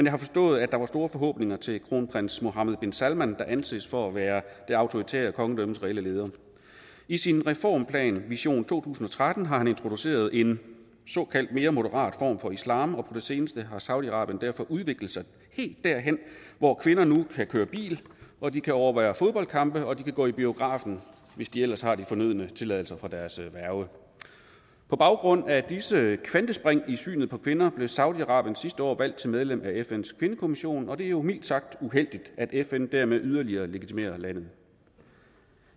har forstået at der var store forhåbninger til kronprins mohammed bin salman der anses for at være det autoritære kongedømmes reelle leder i sin reformplan vision to tusind og tretten har han introduceret en såkaldt mere moderat form for islam og på det seneste har saudi arabien derfor udviklet sig helt derhen hvor kvinder nu kan køre bil og de kan overvære fodboldkampe og de kan gå i biografen hvis de ellers har de fornødne tilladelser fra deres værge på baggrund af disse kvantespring i synet på kvinder blev saudi arabien sidste år valgt til medlem af fns kvindekommission og det er jo mildt sagt uheldigt at fn dermed yderligere legitimerer landet